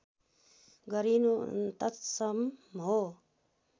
गरिनु तत्सम हो